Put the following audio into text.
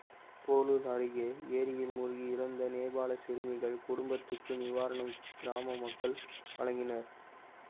போளூர் அருகே ஏரியில் மூழ்கி இறந்த நேபாள சிறுமிகள் குடும்பத்துக்கு நிவாரணம் கிராம மக்கள் வழங்கினர்